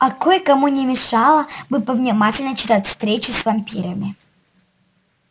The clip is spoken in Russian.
а кое-кому не мешало бы повнимательнее читать встречи с вампирами